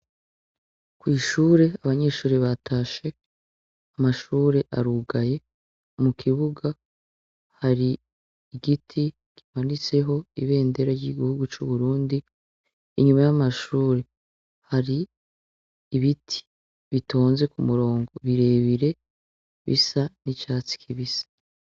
Kw'ishure abanyeshure batashe amashure arugaye mu kibuga hari igiti kimanitseho ibendera ry'igihugu c'uburundi inyuma y'amashure hari ibiti bitonze ku murongo birebire bisa ni catsi kibisa.